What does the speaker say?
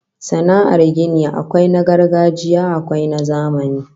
Sana'ar gini akwai na gargajiya akwai na zamani